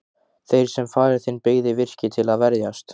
Þeir sem faðir þinn byggði virkið til að verjast.